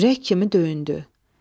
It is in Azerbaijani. Ürək kimi döyündü.